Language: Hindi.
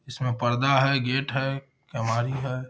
इसमें पर्दा है। गेट है। कैमारी है।